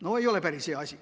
No ei ole päris hea asi.